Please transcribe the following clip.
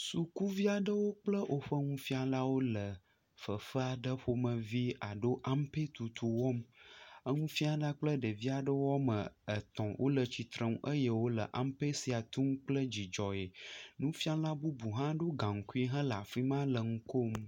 Sukuvi aɖewo kple woƒe nufialawo le fefe aɖe ƒomevi alo ampetutu wɔm. Eŋufiala kple ɖevi aɖe woame etɔ̃ wole tsitreŋu eye wole ampe sia tum kple dzidzɔ. Nufiala bubu hã ɖo gaŋkui hele afi ma le ŋu kom.